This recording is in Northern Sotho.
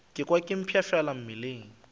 ka kwa ke mpshafala mmeleng